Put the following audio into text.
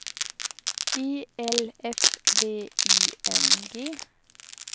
E L F V I N G